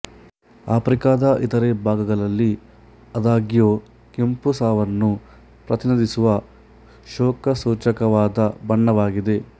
ಆಫ್ರಿಕಾದ ಇತರೆ ಭಾಗಗಳಲ್ಲಿ ಆದಾಗ್ಯೂ ಕೆಂಪು ಸಾವನ್ನು ಪ್ರತಿನಿಧಿಸುವ ಶೋಕಸೂಚಕವಾದ ಬಣ್ಣವಾಗಿದೆ